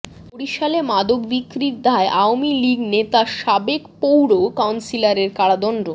বরিশালে মাদক বিক্রির দায়ে আওয়ামী লীগ নেতা সাবেক পৌর কাউন্সিলরের কারাদন্ড